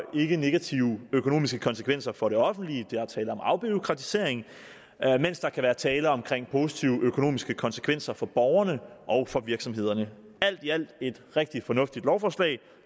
ikke negative økonomiske konsekvenser for det offentlige der er tale om afbureaukratisering mens der kan være tale om positive økonomiske konsekvenser for borgerne og for virksomhederne alt i alt er det et rigtig fornuftigt lovforslag